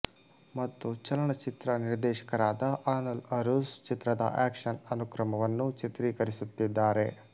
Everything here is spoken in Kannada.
ಮತ್ತು ಚಲನಚಿತ್ರ ನಿರ್ದೇಶಕರಾದ ಅನಲ್ ಅರುಸ್ ಚಿತ್ರದ ಆಕ್ಷನ್ ಅನುಕ್ರಮವನ್ನು ಚಿತ್ರೀಕರಿಸುತ್ತಿದ್ದಾರೆ